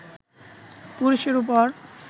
পুরুষের ওপর